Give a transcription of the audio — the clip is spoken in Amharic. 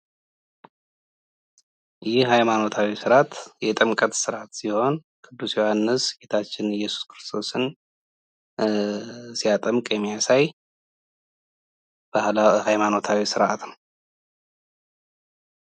ይህ ሃይማኖታዊ ስርዓት የጥምቀት ስርዓት ሲሆን ዮሐንስ ጌታችን እየሱስ ክርስቶስን ሲያጠምቅ የሚያሳይ ሃይማኖታዊ ስርዓት ነው።